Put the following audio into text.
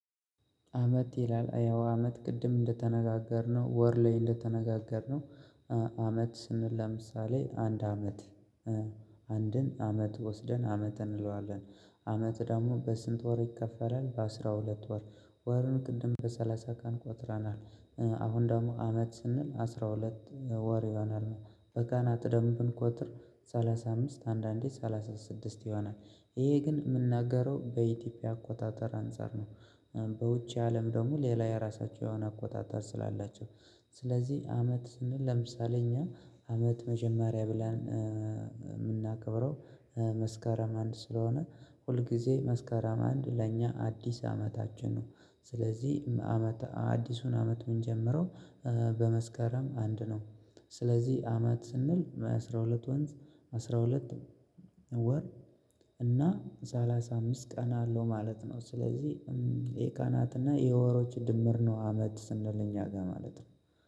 አመት ይላል ያው አመት ቅድም እንደተነጋገርነው ወር ላይ እንደተነጋገርነው። አመት ስንል ለምሳሌ አንድ አመት አንድን አመት ወስደን አመት እንለዋለን። አመት ደግሞ በስንት ወር ይከፈላል በአሥራ ሁለት ወር ወርን ቅድም በሰላሳ ቀን ቆጥረናል። አሁን ደግሞ አመት ስንል አስራ ሁለት ወር ይሆናል። በጋና ቅደም ብንቆጥር ሰላሳ አምስት አንዳንዴ ሰላሳ ሰላሳ ስድስት ይሆናል ይሄ ግን የምናገረው በኢትዮጵያ አቆጣጠር አንፃር ነው። በውጪው አለም ደግሞ ሌላ የራሳቸውን አቆጣጣር ስላላቸው። ስለዚህ አመት ስንል ለምሳሌ እኛ አመት መጀመሪያ ብለን የምናከብረው መስከረም አንድ ስለሆነ ሁል ጊዜ መስከረም አንድ ለእኛ አዲስ አመታችን ነው። ስለዚህ አመት አዲሱን አመት ምንጀምረው በመስከረም አንድ ነው። ስለዚህ አመት ስንል አስራ ሁለት ወንዝ አስራ ሁለት ወር እና ሰላሳ አምስት ቀን አለው ማለት ነው። ስለዚህ የቀናትና የወሮች ድምር ነው አመት ስንል እኛ ጋር ማለት ነው።